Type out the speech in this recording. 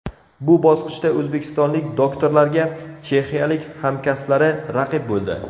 Bu bosqichda o‘zbekistonlik doktorlarga chexiyalik hamkasblari raqib bo‘ldi.